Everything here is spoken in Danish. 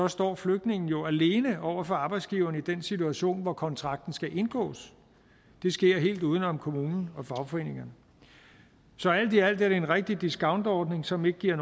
står flygtningen jo alene over for arbejdsgiveren i den situation hvor kontrakten skal indgås det sker helt uden om kommunen og fagforeningerne så alt i alt er det en rigtig discountordning som ikke giver